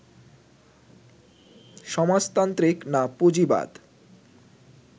সমাজতান্ত্রিক না পুঁজিবাদ